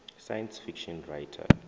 science fiction writer